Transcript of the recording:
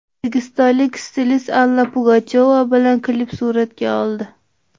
O‘zbekistonlik stilist Alla Pugachyova bilan klip suratga oldi .